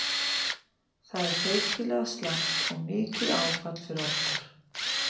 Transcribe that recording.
Það er feikilega slæmt og mikið áfall fyrir okkur.